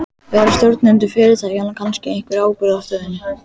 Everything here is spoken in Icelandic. Bera stjórnendur fyrirtækjanna kannski einhverja ábyrgð á stöðunni?